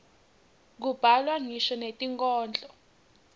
kubhalwa ngisho netinkhondlo